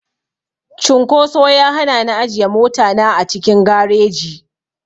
Cunkoso ya hana ni ajiye mota na a cikin gareji.